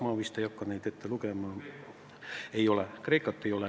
Ma vist ei hakka neid enam ette lugema, Kreekat ei ole.